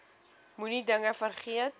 moenie dinge vergeet